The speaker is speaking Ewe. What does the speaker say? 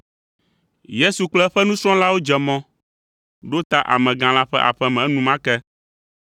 Yesu kple eƒe nusrɔ̃lawo dze mɔ ɖo ta amegã la ƒe aƒe me enumake.